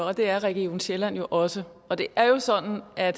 og det er region sjælland jo også og det er sådan at